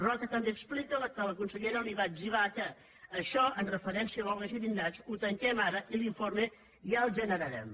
roca també explica que la consellera li va etzibar que això amb referència a l’olga xirinacs ho tanquem ara i l’informe ja el generarem